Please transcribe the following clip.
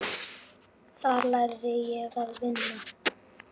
Þar lærði ég að vinna.